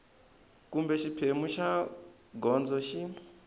kumbe xiphemu xa gondzo xi